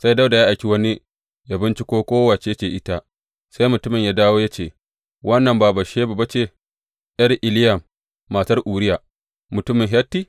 Sai Dawuda ya aiki wani yă bincika ko wace ce ita, sai mutumin ya dawo ya ce, Wannan ba Batsheba ba ce, ’yar Eliyam matar Uriya, mutumin Hitti?